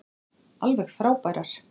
Alveg frábærar.